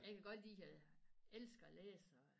Jeg kan godt lide at elsker at læse og